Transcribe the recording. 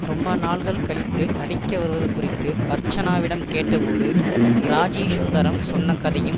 ரொம்ப நாள்கள் கழித்து நடிக்க வருவது குறித்து அர்ச்சனாவிடம் கேட்டபோது ராஜீ சுந்தரம் சொன்ன கதையும்